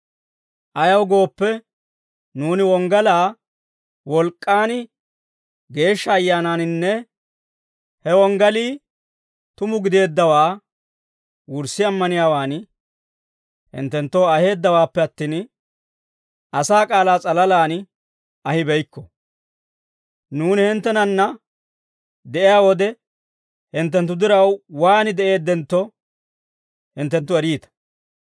Ayaw gooppe, nuuni wonggalaa, wolk'k'aan, Geeshsha Ayyaanaaninne he wonggelii tuma gideeddawaa wurssi ammaniyaawaan hinttenttoo aheeddawaappe attin, asaa k'aalaa s'alalaan ahibeykko. Nuuni hinttenanna de'iyaa wode, hinttenttu diraw waan de'eeddentto, hinttenttu eriita.